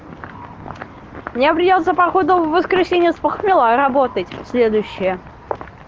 мне придётся походу в воскресенье с похмела работать следующее